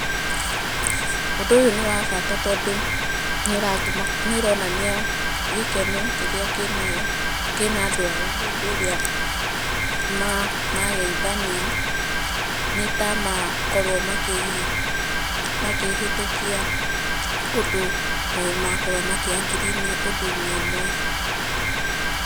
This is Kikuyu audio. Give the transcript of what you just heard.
Ũndũ ũyũ nĩ wa bata tondũ nĩũratũma nĩũronania gĩkeno kĩrĩa kĩnayo, kĩna andũ aya hĩndĩ ĩrĩa mageithania, nĩ ta makorwo makĩ, makĩhĩtũkia ũndũ, makorwo makĩ agree ũndũ-inĩ ũmwe.